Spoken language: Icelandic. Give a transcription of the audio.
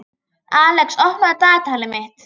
Alex, opnaðu dagatalið mitt.